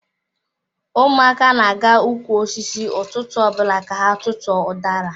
Ụmụaka na-aga ụkwụ osisi ụtụtụ ọbụla ka ha tutu ọ udara.